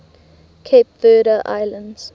cape verde islands